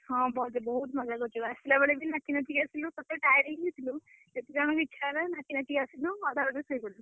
ହଁ ବସ୍ ରେ ବହୁତ୍ ମଜା କରିଚୁ। ଆସିଲା ବେଳେ ବି ନାଚି ନାଚି ଆସିଲୁ। ସେ ତ tired ହେଇଯାଇଥିଲୁ। ଯେତେଜଣ ବି ଇଚ୍ଛା ହେଲା ନାଚି ନାଚି ଆସିଲୁ, ଅଧା ବାଟରେ ଶୋଇପଡିଲୁ।